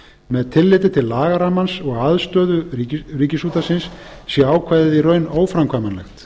með tilliti til lagarammans og aðstöðu ríkisútvarpsins sé ákvæðið í raun óframkvæmanlegt